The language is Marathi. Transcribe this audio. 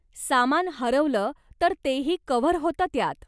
सामान हरवलं तर तेही कव्हर होतं त्यात.